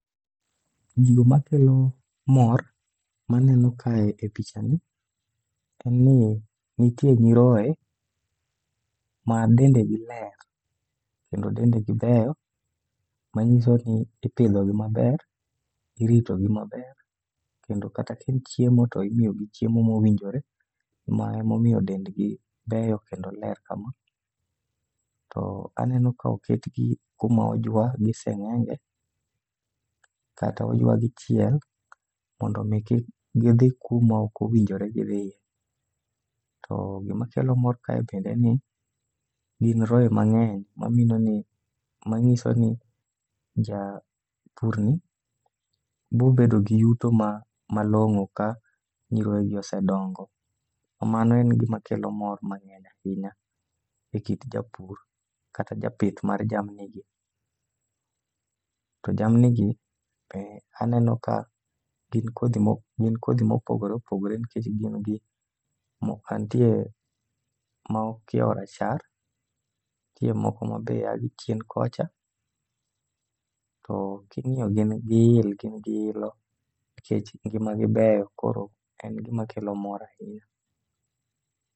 Gigo makelo mor maneno kae e picha ni en ni nitie nyiroye ma dendegi ler, kendo dende gi beyo. Manyiso ni ipidhogi maber, iritogi maber, kendo kata kaen chiemo to imiyogi chiemo mowinjore. Ma emomiyo dendgi ber kendo leyo kama, to aneno ka oketgi kuma ojwa gi seng'enge, kata oywagi chiel mondo mi kik gidhi kuma okowinjore gidhiye. To gima kelo mor kae bende en ni gin roye mang'eny ma mino ni ma ng'iso ni japur ni bobedo gi yuto ma malong'o ka nyiroye gi osedongo. Mano en gima kelo mor mang'eny ahinya e kit japur kata japith mar jamni gi. To jamni gi be aneno ka gin kodhi mo gin kodhi mopogore opogore nikech gin gi mo mantie ma okiewo rachar, nitie moko ma be a gichien kocha. To king'iyo gin gi il, gin gi ilo nikech ngima gi beyo koro en gima kelo mor ahinya.